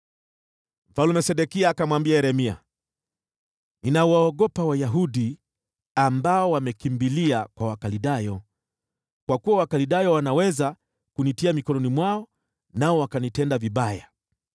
Mfalme Sedekia akamwambia Yeremia, “Ninawaogopa Wayahudi ambao wamekimbilia kwa Wakaldayo, kwa kuwa Wakaldayo wanaweza kunitia mikononi mwao, nao wakanitenda vibaya.”